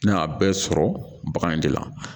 Ne y'a bɛɛ sɔrɔ bagan in de la